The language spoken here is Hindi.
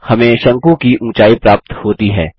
हमें शंकु की ऊँचाई प्राप्त होती है